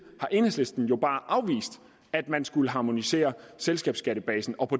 har enhedslisten jo bare afvist at man skulle harmonisere selskabsskattebasen og